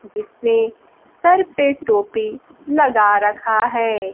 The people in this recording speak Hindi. जिसने सर पे टोपी लगा रखा है।